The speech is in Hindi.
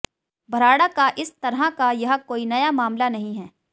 भराड़ा का इस तरह का यह कोई नया मामला नहीं है